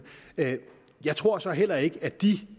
jeg tror så heller ikke at de